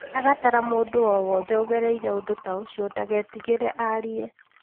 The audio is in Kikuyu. Agatara mũndũ o wothe ũgereire ũndũ ta ũcio ndagetigĩre arie.